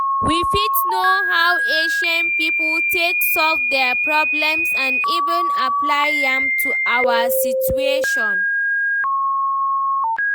We fit know how ancient pipo take solve their problems and even apply am to our situation